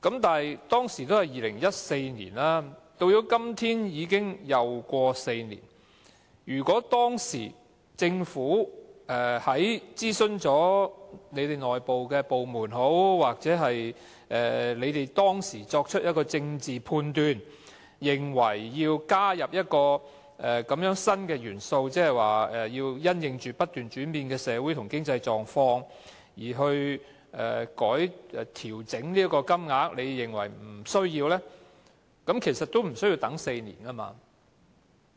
但是，當年只是2014年，到了今天，已過了4年，如果政府當時經諮詢內部部門或當時作出的政治判斷，認為要加入這個新元素，即因應"本港不斷轉變的社會和經濟狀況"而調整金額，之後又認為沒有需要，其實也不用等4年的。